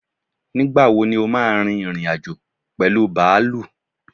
Nígbàwo ní o ma rin ìrìn-àjò pẹ̀lú bàálù?